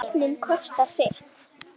En tæknin kostar sitt.